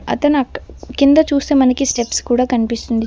అతను అట్ కింద చూస్తే మనకి స్టెప్స్ కూడా కనిపిస్తుంది.